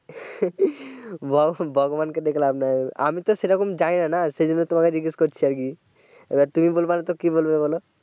ভগ ভগবান কে ডেকে লাভ নাই আমি তো সেরকম জানিনা না সেজন্য তোমাকে জিজ্ঞেস করছে আর কি এবার তুমি বলব নাতো কে বলবে বোলো